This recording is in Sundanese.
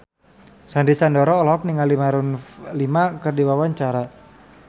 Sandy Sandoro olohok ningali Maroon 5 keur diwawancara